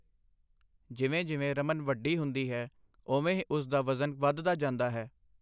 ਜਿਵੇਂ-ਜਿਵੇਂ ਰਮਨ ਵੱਡੀ ਹੁੰਦੀ ਹੈ, ਓਵੇਂ ਹੀ ਉਸ ਦਾ ਵਜ਼ਨ ਵੱਧਦਾ ਜਾਂਦਾ ਹੈ।